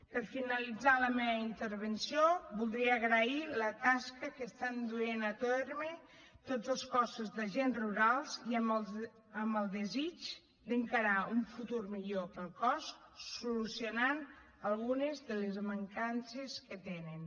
per finalitzar la meva intervenció voldria agrair la tasca que estan duent a terme tots els cossos d’agents rurals i amb el desig d’encarar un futur millor pel cos solucionant algunes de les mancances que tenen